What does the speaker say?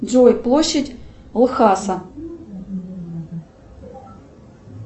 джой площадь лхаса